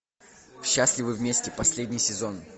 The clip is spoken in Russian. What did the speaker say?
счастливы вместе последний сезон